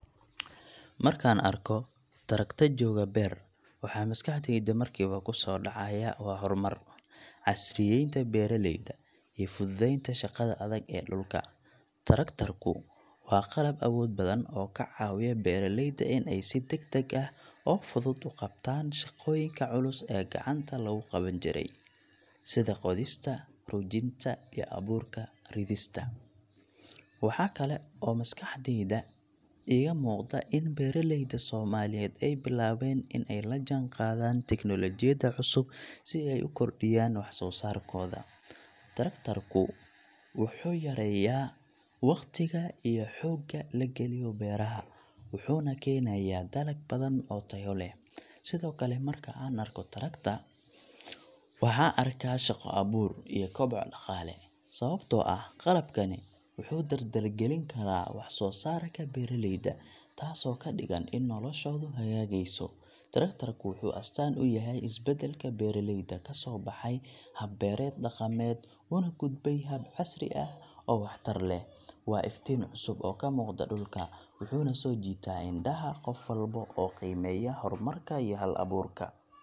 Markaan arko traktor jooga beer, waxa maskaxdayda markiiba ku soo dhacaya waa horumar, casriyaynta beeraleyda iyo fududeynta shaqada adag ee dhulka. Traktorku waa qalab awood badan oo ka caawiya beeraleyda in ay si degdeg ah oo fudud u qabtaan shaqooyinka culus ee gacanta lagu qaban jiray, sida qodista, rujinta, iyo abuurka ridista. Waxaa kale oo maskaxdeyda iiga muuqda in beeraleyda Soomaaliyeed ay bilaabeen in ay la jaanqaadaan tiknoolajiyadda cusub si ay u kordhiyaan wax-soo-saarkooda. Traktorku wuxuu yareeyaa waqtiga iyo xoogga la geliyo beeraha, wuxuuna keenayaa dalag badan oo tayo leh. Sidoo kale, marka aan arko traktor, waxaan arkaa shaqo abuur iyo koboc dhaqaale, sababtoo ah qalabkani wuxuu dardargelin karaa wax soo saarka beeraleyda, taasoo ka dhigan in noloshoodu hagaagayso. Traktorku wuxuu astaan u yahay isbeddelka beeraleyda ka soo baxay hab-beereed dhaqameed una gudbay hab casri ah oo waxtar leh. Waa iftiin cusub oo ka muuqda dhulka, wuxuuna soo jiitaa indhaha qof walba oo qiimeeya horumarka iyo hal-abuurka.